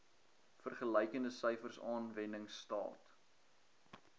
vergelykende syfers aanwendingstaat